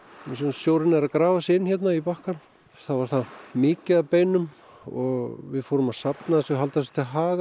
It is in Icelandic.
þar sem sjórinn er að grafa sig inn hérna í bakkann og við fórum að halda þessu til haga